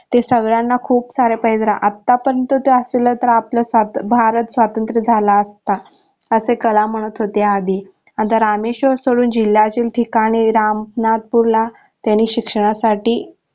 ते सगळ्यांना खूप सारे पैजरा आता पर्यंत ते असते तर आपला भारत स्वतंत्र झाला असता असे कलाम म्हणत होते आधी आता रामेश्वर स्थळून जिल्हा ठीकाणी रामनाथपूरला त्यांनी शिक्षणासाठी